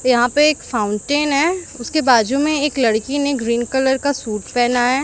यहां पे एक फाउंटेन है उसके बाजू में एक लड़की ने ग्रीन कलर का सूट पहना है।